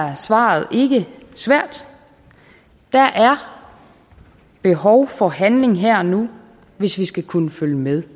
er svaret ikke svært der er behov for handling her og nu hvis vi skal kunne følge med